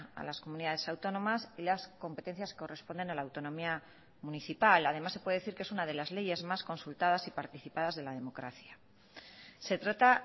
a las comunidades autónomas y las competencias que corresponden a la autonomía municipal además se puede decir que es una de las leyes más consultadas y participadas de la democracia se trata